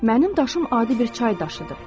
Mənim daşım adi bir çay daşıdır.